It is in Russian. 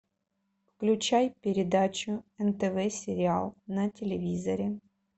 включай передачу нтв сериал на телевизоре